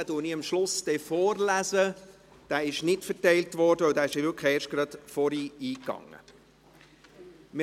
Diesen werde ich am Schluss vorlesen, er wurde nicht ausgeteilt, weil er wirklich erst vorhin eingegangen ist.